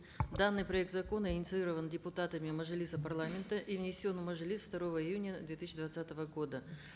данный проект закона инициирован депутатами мажилиса парламента и внесен в мажилис второго июня две тысяча двадцатого года